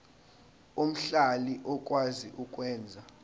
omhlali okwazi ukwenza